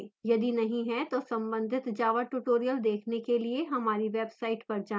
यदि नहीं है तो संबंधित java tutorials देखने के लिए हमारी website पर जाएँ